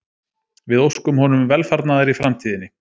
Við óskum honum velfarnaðar í framtíðinni